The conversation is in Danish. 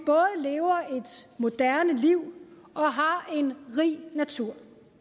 moderne liv og har en rig natur